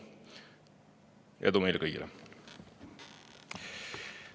Edu meile kõigile!